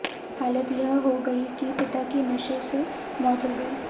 हालत यह हो गई कि पिता की नशे से मौत हो गई